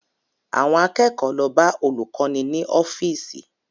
Àwọn akẹ́kọ̀ọ́ lọ bá olùkọ́ni ní ọ́fíìsì